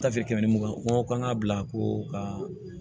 Tafe kɛmɛ ni mugan ko k'an ka bila ko ka